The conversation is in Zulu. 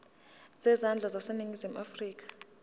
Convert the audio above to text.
zezandla zaseningizimu afrika